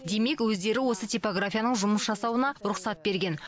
демек өздері осы типографияның жұмыс жасауына рұқсат берген